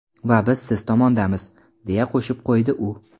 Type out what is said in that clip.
Va biz siz tomondamiz”, deya qo‘shib qo‘ydi u.